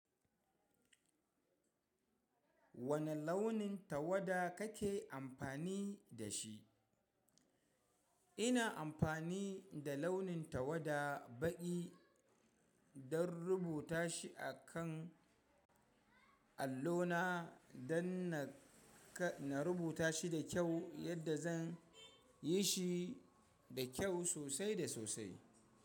Wane launin tawada kake amfani da shi? Ina amfani da launin tawada baƙi don rubuta shi a kan allona don na rubuta shi da kyau yadda zan yi shi da kyau sosai da sosai.